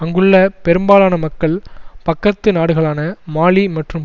அங்குள்ள பெரும்பாலான மக்கள் பக்கத்து நாடுகளான மாலி மற்றும்